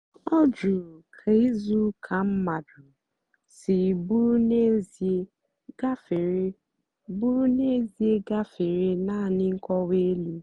ọ jụ̀rù kà ìzùùka mmadụ́ sì bụ́rụ́ n'ézìè gàfèrè bụ́rụ́ n'ézìè gàfèrè naanì nkọ́wa èlù.